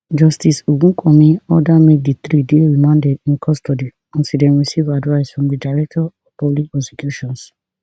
justice ogunkanmi order make di three dey remanded in custody until dem receive advice from di director of public prosecutions